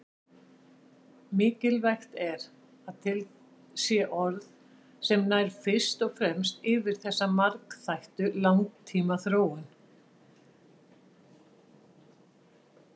Mikilvægt er að til sé orð sem nær fyrst og fremst yfir þessa margþættu langtímaþróun.